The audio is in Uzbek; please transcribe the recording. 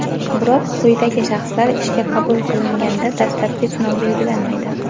Biroq quyidagi shaxslar ishga qabul qilinganda dastlabki sinov belgilanmaydi:.